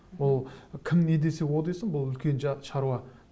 ол кім не десе о десін бұл үлкен шаруа